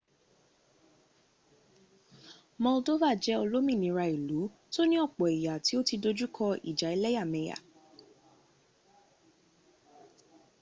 moldova jẹ olómìnira ílu tó ní ọ̀pọ̀ èyà tí o tí dojúkọ ìjà ẹléyàmẹ̀yà